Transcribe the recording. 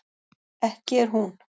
ekki er hún